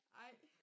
Ej